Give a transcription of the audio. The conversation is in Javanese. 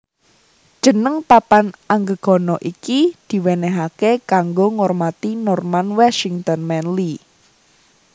Jeneng papan anggegana iki diwenehake kanggo ngormati Norman Washington Manley